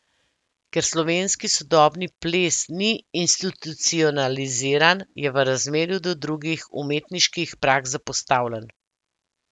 Ker slovenski sodobni ples ni institucionaliziran, je v razmerju do drugih umetniških praks zapostavljen.